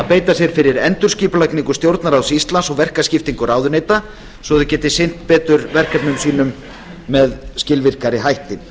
beita sér fyrir endurskipulagningu stjórnarráðs íslands og verkaskiptingu ráðuneyta svo að þau geti sinnt betur verkefnum sínum með skilvirkari hætti